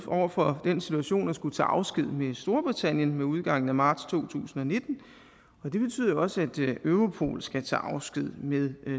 over for den situation at skulle tage afsked med storbritannien med udgangen af marts to tusind og nitten og det betyder også at europol skal tage afsked med